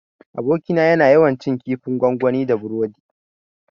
Abokina yana yawan cin kifin gwangwani da burodi